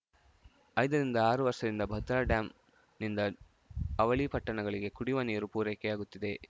ಐದ ರಿಂದ ಆರು ವರ್ಷದಿಂದ ಭದ್ರಾ ಡ್ಯಾಂನಿಂದ ಅವಳಿ ಪಟ್ಟಣಗಳಿಗೆ ಕುಡಿಯುವ ನೀರು ಪೂರೈಕೆಯಾಗುತ್ತಿದೆ